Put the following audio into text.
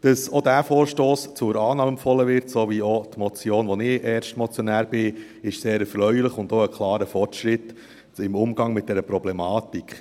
Dass auch dieser Vorstoss zur Annahme empfohlen wird sowie auch die Motion , bei der ich Erstmotionär bin, ist sehr erfreulich und auch ein klarer Fortschritt im Umgang mit dieser Problematik.